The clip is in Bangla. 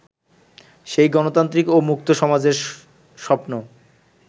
সেই গণতান্ত্রিক ও মুক্ত সমাজের স্বপ্ন